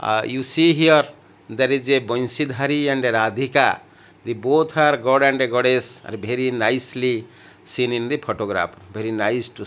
uh you see here there is a bansidhari and radhika they both are god and a goddess are very nicely seen in the photograph very nice to --